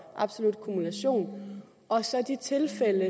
absolut kumulation og så de tilfælde